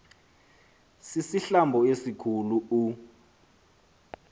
sisihlambo esikhu u